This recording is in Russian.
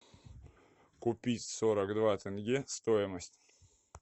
купить сорок два тенге стоимость